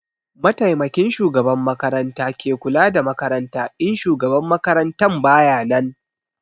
Mataimakin shugaban makaranta ke kula da makaranta in shugaban makarantan bayanan